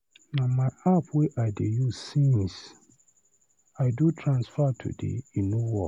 Na my app wey I dey use since, I do transfer today e no work.